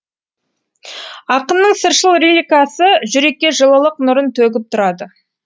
ақынның сыршыл лирикасы жүрекке жылылық нұрын төгіп тұрады